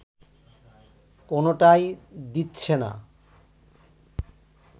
কোনোটাই দিচ্ছে না